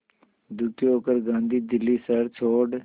दुखी होकर गांधी दिल्ली शहर छोड़